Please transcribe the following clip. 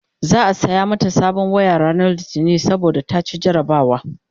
za'a saya mata sabon waya ranar litini saboda ta ci jarabawa